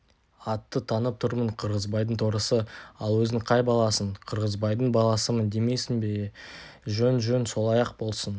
атты танып тұрмын қырғызбайдың торысы ал өзің қай баласың қырғызбайдың баласымын деймісің е-е жөн-жөн солай-ақ болсын